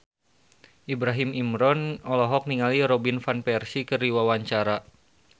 Ibrahim Imran olohok ningali Robin Van Persie keur diwawancara